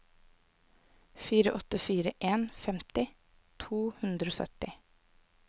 fire åtte fire en femti to hundre og sytti